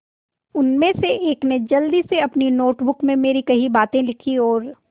उनमें से एक ने जल्दी से अपनी नोट बुक में मेरी कही बातें लिखीं और